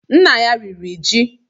Nna ya riri ji